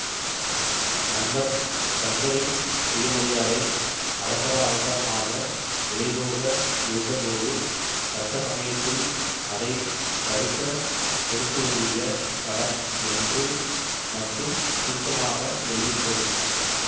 நண்பன் சங்கரின் சுயமரியாதை அவசர அவசரமாக விலைபோக இருந்தபோது தக்க சமயத்தில் அதை தடுக்கக் கொடுத்து உதவிய கடன் என்று மட்டும் சுருக்கமாக எழுதி கொள்